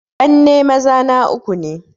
Ƙanne maza na uku ne